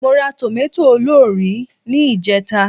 Mo ra tòmátò olórìí ní ìjẹta